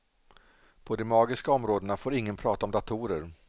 På de magiska områdena får ingen prata om datorer.